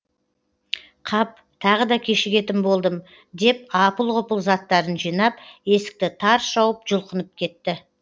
қап тағы да кешігетін болдым деп апыл ғұпыл заттарын жинап есікті тарс жауып жұлқынып кетті